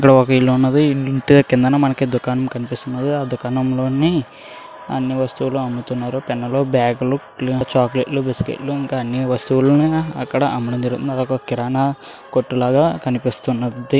ఇక్కడ ఒక ఇల్లు ఉన్నది ఇల్లు ఉంటే కిందనే మనకి దుకాణం కనిపిస్తున్నది ఆ దుకాణంలోని అన్ని వస్తువులు అమ్ముతున్నారు. పెన్నులు బ్యాగులు చాక్లెట్లు బిస్కెట్లు ఇంకా అన్ని వస్తువులు అక్కడ అమ్ముతున్నారు. అది ఒక కిరాణా కొట్టు లాగా కనిపిస్తున్నది.